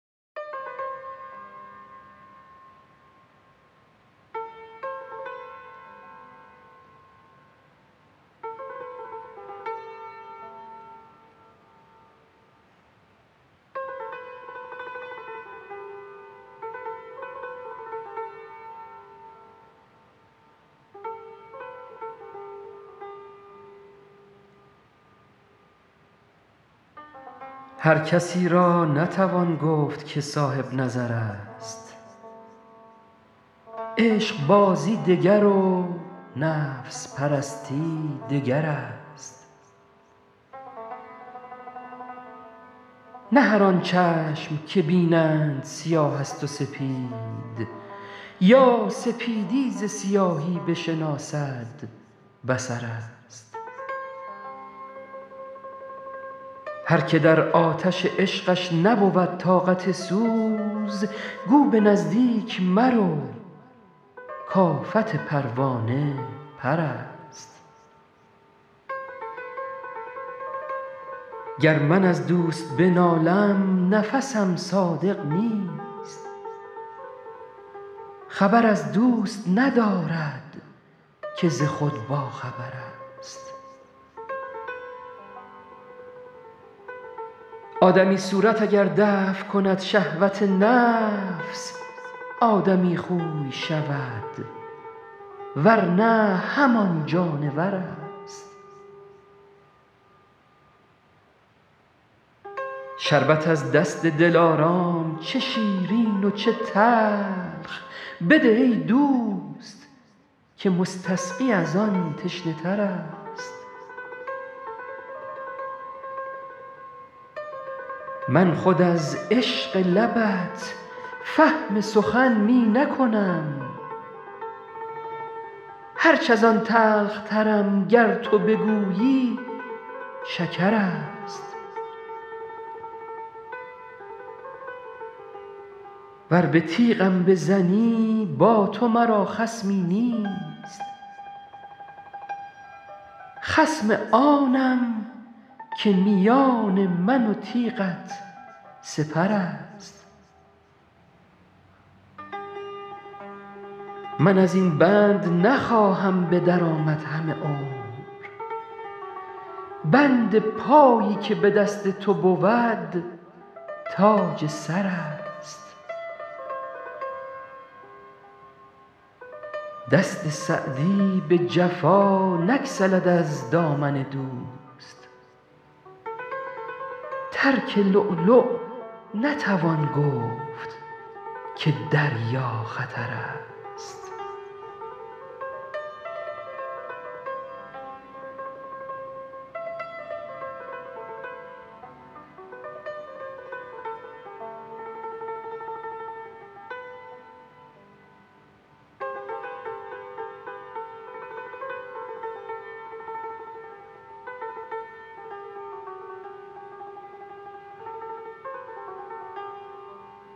هر کسی را نتوان گفت که صاحب نظر است عشقبازی دگر و نفس پرستی دگر است نه هر آن چشم که بینند سیاه است و سپید یا سپیدی ز سیاهی بشناسد بصر است هر که در آتش عشقش نبود طاقت سوز گو به نزدیک مرو کآفت پروانه پر است گر من از دوست بنالم نفسم صادق نیست خبر از دوست ندارد که ز خود باخبر است آدمی صورت اگر دفع کند شهوت نفس آدمی خوی شود ور نه همان جانور است شربت از دست دلارام چه شیرین و چه تلخ بده ای دوست که مستسقی از آن تشنه تر است من خود از عشق لبت فهم سخن می نکنم هرچ از آن تلخترم گر تو بگویی شکر است ور به تیغم بزنی با تو مرا خصمی نیست خصم آنم که میان من و تیغت سپر است من از این بند نخواهم به در آمد همه عمر بند پایی که به دست تو بود تاج سر است دست سعدی به جفا نگسلد از دامن دوست ترک لؤلؤ نتوان گفت که دریا خطر است